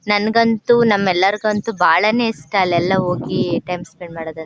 ನನಗಂತೂ ನಮ್ಮ ಎಲರಗಂತೂ ಬಹಳಾನೇ ಇಷ್ಟ ಅಲಯೆಲಾ ಹೋಗಿ ಟೈಮ್ ಸ್ಪೆಂಡ್ ಮಾಡೋದು.